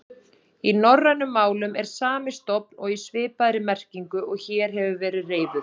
Í norrænum málum er sami stofn og í svipaðri merkingu og hér hefur verið reifuð.